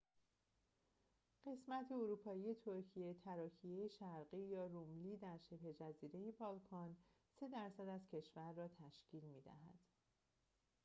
قسمت اروپایی ترکیه تراکیه شرقی یا روملی در شبه‌جزیره بالکان 3% از کشور را تشکیل می‌دهد